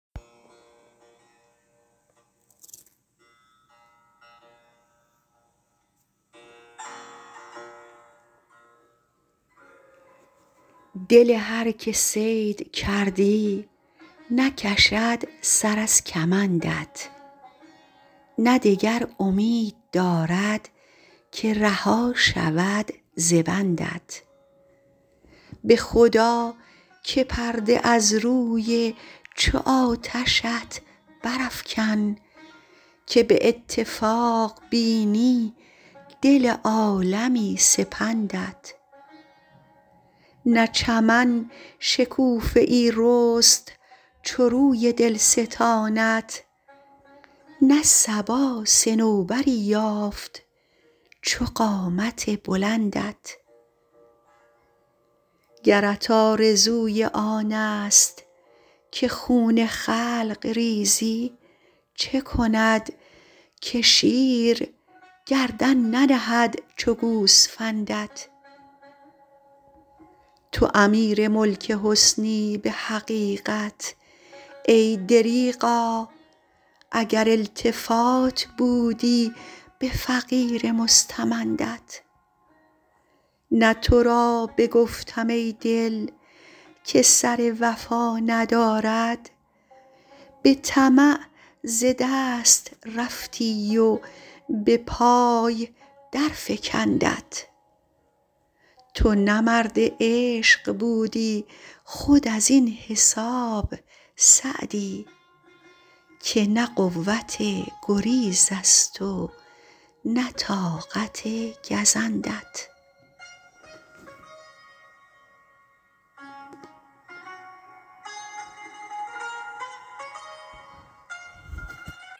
دل هر که صید کردی نکشد سر از کمندت نه دگر امید دارد که رها شود ز بندت به خدا که پرده از روی چو آتشت برافکن که به اتفاق بینی دل عالمی سپندت نه چمن شکوفه ای رست چو روی دلستانت نه صبا صنوبری یافت چو قامت بلندت گرت آرزوی آنست که خون خلق ریزی چه کند که شیر گردن ننهد چو گوسفندت تو امیر ملک حسنی به حقیقت ای دریغا اگر التفات بودی به فقیر مستمندت نه تو را بگفتم ای دل که سر وفا ندارد به طمع ز دست رفتی و به پای درفکندت تو نه مرد عشق بودی خود از این حساب سعدی که نه قوت گریزست و نه طاقت گزندت